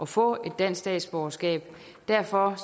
få et dansk statsborgerskab derfor